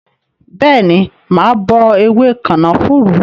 Bẹẹni, mà á bọ ewé kànáfùrú